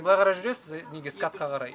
былай қарай жүресіз неге скатқа қарай